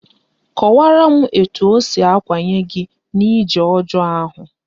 Kọwaraa m etu o siri akwanye gị n'ije ọjọọ ahụ